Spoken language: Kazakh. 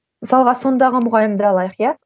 мысалға сондағы мұғалімді алайық иә